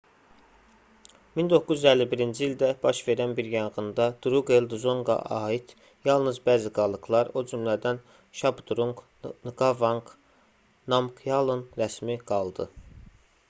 1951-ci ildə baş verən bir yanğında druqel dzonqa aid yalnız bəzi qalıqlar o cümədən şabdrunq nqavanq namqyalın rəsmi qaldı